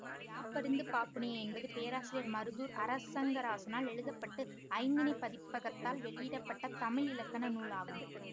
யாப்பறிந்து பாப்புனைய என்பது பேராசிரியர் மருதூர் அரங்கராசனால் எழுத பட்டு ஐந்திணைப் பதிப்பகத்தால் வெளியிட பட்ட தமிழ் இலக்கண நூல் ஆகும்